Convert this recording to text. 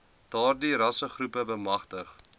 daardie rassegroepe bemagtig